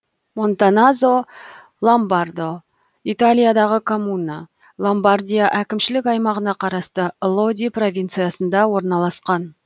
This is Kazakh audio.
монтаназо лобмардо италиядағы коммуна ломбардия әкімшілік аймағына қарасты лоди провинциясында орналасқан